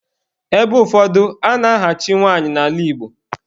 Ebe ụfọdụ, a na-ahachi nwanyị n'ala Igbo.